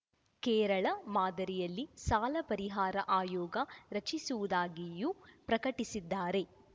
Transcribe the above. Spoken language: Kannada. ಕೇರಳ ಮಾದರಿಯಲ್ಲಿ ಸಾಲ ಪರಿಹಾರ ಆಯೋಗ ರಚಿಸುವುದಾಗಿಯೂ ಪ್ರಕಟಿಸಿದ್ದಾರೆ